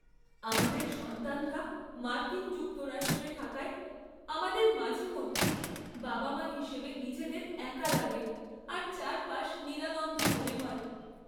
আমাদের সন্তানরা মার্কিন যুক্তরাষ্ট্রে থাকায়, আমাদের মাঝেমধ্যেই বাবা মা হিসেবে নিজেদের একা লাগে আর চারপাশ নিরানন্দ মনে হয়।